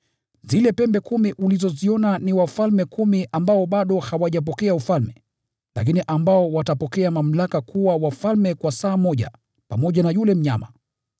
“Zile pembe kumi ulizoziona ni wafalme kumi ambao bado hawajapokea ufalme, lakini watapokea mamlaka kuwa wafalme kwa saa moja pamoja na yule mnyama.